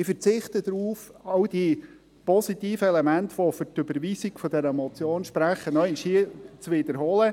Ich verzichte darauf, alle die positiven Elemente, die für die Überweisung dieser Motion sprechen, noch einmal zu wiederholen.